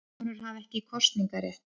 Konur hafa ekki kosningarétt.